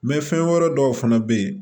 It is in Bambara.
fɛn wɛrɛ dɔw fana bɛ yen